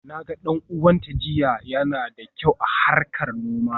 Na ga dan uwanta jiya, yana da kyau a harkar noma.